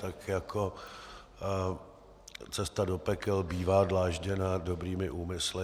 Tak jako cesta do pekel bývá dlážděna dobrými úmysly.